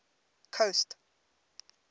coast